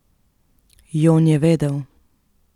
Jon je vedel.